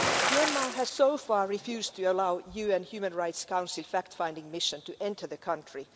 Myanmar has so far refused to allow a UN Human Rights Council fact-finding mission to enter the country.